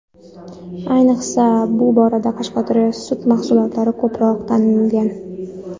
Ayniqsa, bu borada Qashqadaryo sut mahsulotlari ko‘proq tanilgan.